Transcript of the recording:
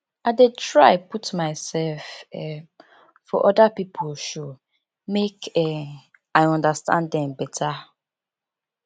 i dey try put mysef um for oda pipo shoe make um i understand dem beta